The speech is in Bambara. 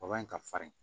in ka farin